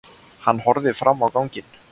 Hann horfði fram á ganginn.